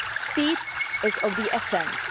Speed is of the essence.